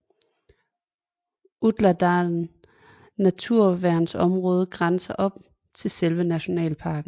Utladalen naturværnsområde grænser op til selve nationalparken